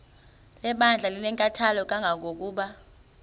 lebandla linenkathalo kangangokuba